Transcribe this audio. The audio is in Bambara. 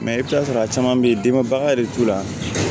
i bɛ t'a sɔrɔ a caman bɛ yen denba yɛrɛ bɛ t'u la